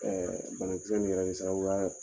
banakisɛ in yɛrɛ bɛ